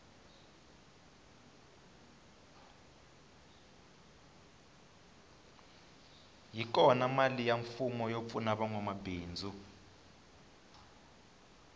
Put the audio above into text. yi kona mali ya mfumo yo pfuna vanwa mabindzu